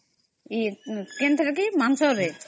କେ ଥିରେ କି ? ମାଂସ ରେ